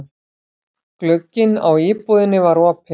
Glugginn á íbúðinni var opinn.